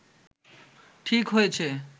ঠিক হয়েছে